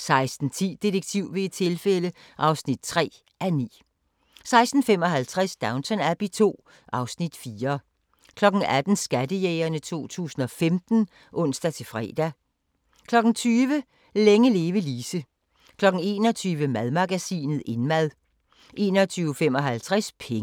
16:10: Detektiv ved et tilfælde (3:9) 16:55: Downton Abbey II (Afs. 4) 18:00: Skattejægerne 2015 (ons-fre) 20:00: Længe leve Lise 21:00: Madmagasinet – Indmad 21:55: Penge